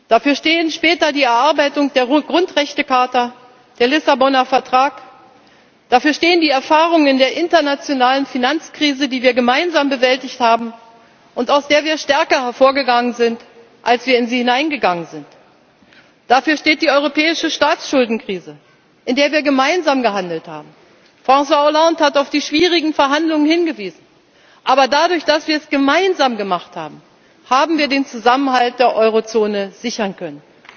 Dafür stehen später die Erarbeitung der Grundrechtecharta, der Lissaboner Vertrag, dafür stehen die Erfahrungen aus der internationalen Finanzkrise, die wir gemeinsam bewältigt haben und aus der wir stärker hervorgegangen sind, als wir in sie hineingegangen sind, dafür steht die europäische Staatsschuldenkrise, in der wir gemeinsam gehandelt haben. François Hollande hat auf die schwierigen Verhandlungen hingewiesen. Aber dadurch, dass wir es gemeinsam gemacht haben, haben wir den Zusammenhalt der Eurozone sichern können.